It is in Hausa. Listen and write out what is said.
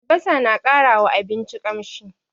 Albasa na ƙara wa abinci ƙamshi.